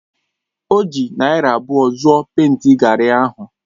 O ji naira abụọ zụọ pèịnti gari ahụ.